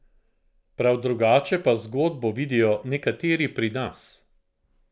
Prav drugače pa zgodbo vidijo nekateri pri nas.